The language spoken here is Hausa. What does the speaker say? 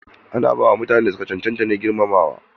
Ana ba wa mutanen da su ka cancanta take na girmamawa ne.